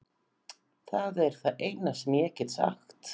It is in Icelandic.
Það er það eina sem ég get sagt.